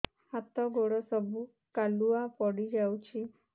ହାତ ଗୋଡ ସବୁ କାଲୁଆ ପଡି ଯାଉଛି